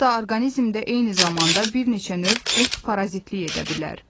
Hətta orqanizmdə eyni zamanda bir neçə növ qurd parazitlik edə bilər.